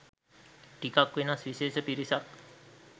ටිකක් වෙනස් විශේෂ පිරිසක්.